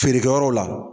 Feerekɛyɔrɔ la